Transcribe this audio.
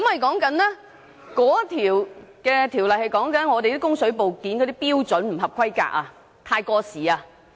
該項規例關於水管部件的標準不合規格或太過時。